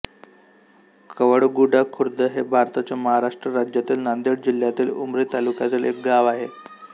कवळगुडा खुर्द हे भारताच्या महाराष्ट्र राज्यातील नांदेड जिल्ह्यातील उमरी तालुक्यातील एक गाव आहे